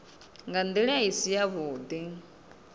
nga ndila i si yavhudi